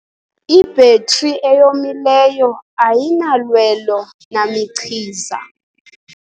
Ibhetri eyomileyo ayinalwelo namichiza.